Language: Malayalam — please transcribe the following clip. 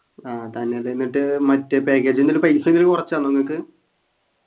ആഹ് തന്നെല്ലേ എന്നിട്ട് മറ്റേ package ൻ്റെ പൈസ എങ്ങാനും കുറച്ചന്നോ നിങ്ങക്ക്